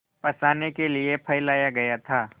फँसाने के लिए फैलाया गया था